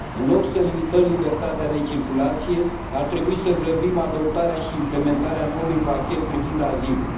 În loc să limităm libertatea de circulație, ar trebui să grăbim adoptarea și implementarea noului pachet privind azilul.